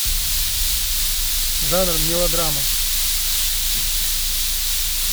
жанр мелодрама